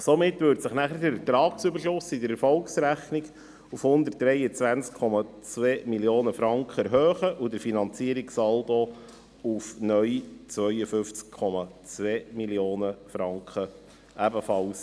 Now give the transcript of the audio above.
Somit würde sich nachher der Ertragsüberschuss in der Erfolgsrechnung um 123,2 Mio. Franken erhöhen und der Finanzierungssaldo auf neu 52,2 Mio. Franken.